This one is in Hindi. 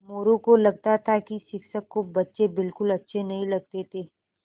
मोरू को लगता था कि शिक्षक को बच्चे बिलकुल अच्छे नहीं लगते थे